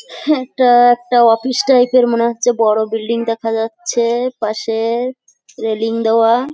হাহ একটা একটা office type -এর মনে হচ্ছে বড় বিল্ডিং দেখা যাচ্ছে-এ পাশে-এ রেলিং দেওয়া ।